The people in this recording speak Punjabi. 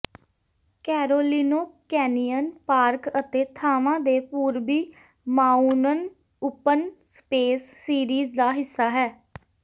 ਕੈਰੋਲਿਨੋ ਕੈਨਿਯਨ ਪਾਰਕ ਅਤੇ ਥਾਂਵਾਂ ਦੇ ਪੂਰਬੀ ਮਾਊਨਨ ਓਪਨ ਸਪੇਸ ਸੀਰੀਜ਼ ਦਾ ਹਿੱਸਾ ਹੈ